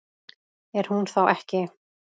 Er hún þá ekki?